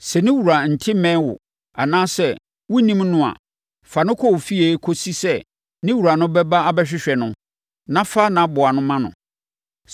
Sɛ ne wura nte mmɛn wo, anaasɛ wonnim no a, fa no kɔ wo fie kɔsi sɛ ne wura no bɛba abɛhwehwɛ no na fa nʼaboa ma no.